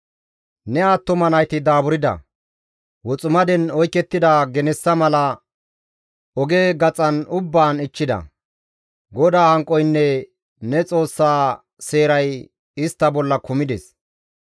Ne attuma nayti daaburda; woximaden oykettida genessa mala oge gaxan ubbaan ichchida. GODAA hanqoynne ne Xoossa seeray istta bolla kumides.